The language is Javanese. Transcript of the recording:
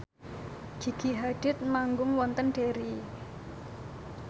Gigi Hadid manggung wonten Derry